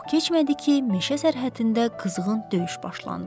Çox keçmədi ki, meşə sərhəddində qızğın döyüş başlandı.